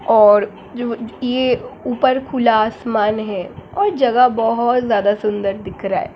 और जो-यह ऊपर खुला आसमान है और जगह बहुत ज्यादा सुंदर दिख रहा है।